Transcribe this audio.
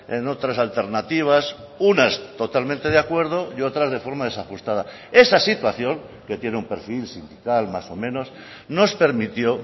en otras alternativas unas totalmente de acuerdo y otras de forma desajustada esa situación que tiene un perfil sindical más o menos nos permitió